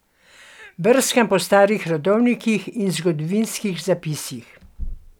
Brskam po starih rodovnikih in zgodovinskih zapisih.